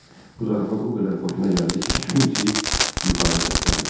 Bu zarafat o qədər xoşuna gəldi ki, gülümsəyib yuxarı səsləndi.